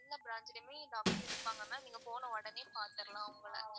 எல்லா branch லையுமே doctor இருப்பாங்க நீங்க போன உடனே பாதர்லாம் அவங்கள.